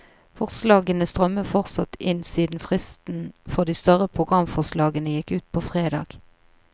Forslagene strømmer fortsatt inn siden fristen for de større programforslagene gikk ut på fredag.